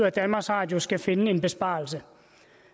at danmarks radio skal finde en besparelse